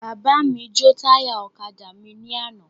Bàbá mi jo táyà ọ̀kadà mí ni àná